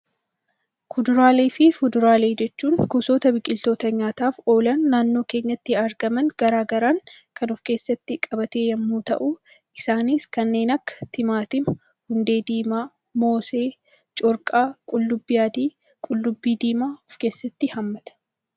Kuduraalee fi fuduraalee jechuun gosoota biqiloota nyaataaf oolan naannoo keenyatti argaman garaagaraa kan of keessatti qabate yemmuu ta'u, isaanis kanneen akka timaatimaa, hundee diimaa, moosee, corqaa, qullubbii adii, qullubbii diimaa of keessatti hammata.